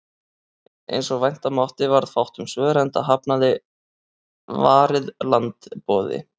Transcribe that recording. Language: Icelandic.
Eins og vænta mátti varð fátt um svör, enda hafnaði Varið land boði